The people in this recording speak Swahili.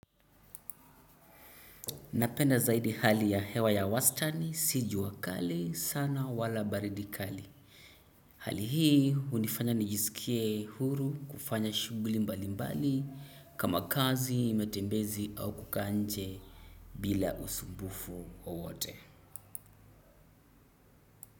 Napenda zaidi hali ya hewa ya wastani, si jua kali, sana wala baridi kali. Hali hii hunifanya nijisikie huru kufanya shughuli mbali mbali kama kazi matembezi au kukaa nje bila usumbufu wowote.